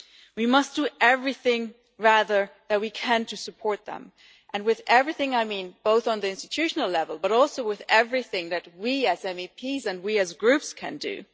We must do everything, rather, that we can to support them, and by everything I mean both on the institutional level but also with everything that we as MEPs and we as Groups can do.